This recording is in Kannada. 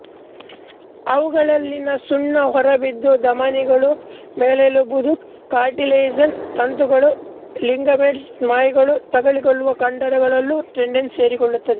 ಅವುಗಳಲ್ಲಿನ ಸುಣ್ಣ ಹೊರಬಿದ್ದು ಧಮನಿಗಳು ಮೆಲ್ಲೆಲುಬುಗಳು ಕಾರ್ಟಿಲೇಜಸ್ ತಂತುಗಟ್ಟುಗಳು ಲಿಗಮೆಂಟ್ಸ್ ಸ್ನಾಯುಗಳು ತಗುಲಿಕೊಳ್ಳುವ ಕಂಡರಗಳಲ್ಲೂ ಟೆಂಡನ್ಸ್ ಸೇರಿಕೊಳ್ಳುತ್ತವೆ